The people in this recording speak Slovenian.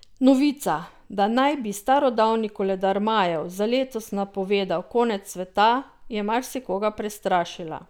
Novica, da naj bi starodavni koledar Majev za letos napovedoval konec sveta, je marsikoga prestrašila.